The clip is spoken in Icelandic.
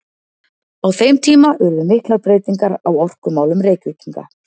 Á þeim tíma urðu miklar breytingar á orkumálum Reykvíkinga.